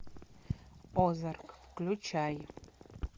озарк включай